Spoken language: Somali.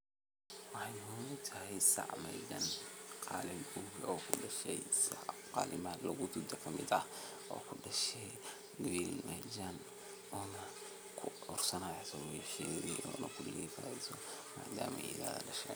Tani waa marxalad muhiim ah oo lagu bilaabo hawsha wax-soo-saarka beeraleyda. Dhulka ayaa la nadiifinayaa, lagana saarayo cawska, qoryaha iyo dhirta kale ee carqaladeyn karta koritaanka dalagga cusub. Waxaa sidoo kale dhici karta in dhulka la qodayo ama la rogayo si loo jebiyo ciidda loogana dhigo mid jilicsan si ay biyuhu ugu dhex milmaan si habboon.